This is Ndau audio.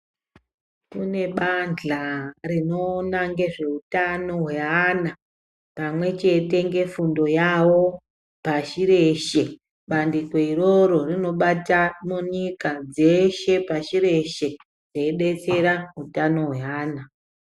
Kune bandla rinoona ngezvevantu hweana pamwechete ngefundo yavo pashi reshe. Bandiko iroro rinobata munyika dzeshe pashi reshe reidetsera utano hweana.